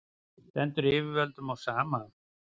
stendur yfirvöldum á sama